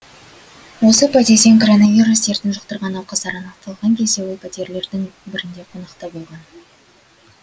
осы подъезден коронавирус дертін жұқтырған науқастар анықталған кезде ол пәтерлердің бірінде қонақта болған